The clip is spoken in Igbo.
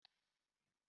Anyị nwere lekchọ echi.